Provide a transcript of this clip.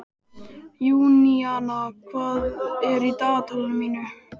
Júníana, hvað er í dagatalinu mínu í dag?